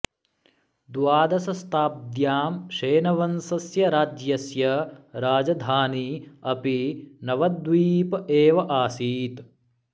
द्वादशशताब्द्यां सेनवंशस्य राज्यस्य राजधानी अपि नवद्वीप एव आसीत्